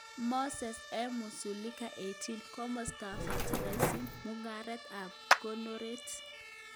Mosee M. Kusiluka 18. Komostapp Factorishem, Mungareet ak konoreet